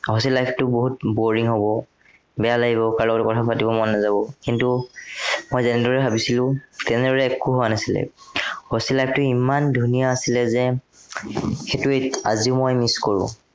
hostel life টো বহুত boring হ'ব। বেয়া লাগিব, কাৰো লগতে কথা পাতিব মন নাযাৱ। কিন্তু মই যেনেদৰে ভাবিছিলো, তেনেদৰে একো হোৱা নাছিলে, hostel life টো ইমান ধুনীয়া আছিলে যে, সেইটো এৰ আজিও মই miss কৰো।